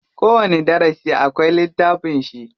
Kowani darasi akwai littafin shi.